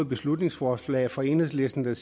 beslutningsforslag fra enhedslisten